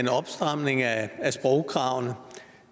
at